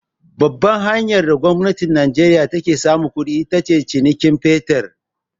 Babbar hanyar da gwamnatin najeriya ta ke samun kuɗi, ita ce cinikayyan fetir.